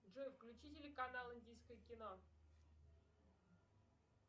джой включи телеканал индийское кино